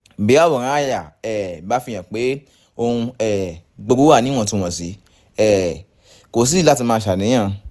bí àwòrán àyà um bá fihàn pé ohun um gbogbo wà níwọ̀ntúnwọ̀nsì um kò sídìí láti máa ṣàníyàn